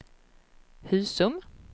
Husum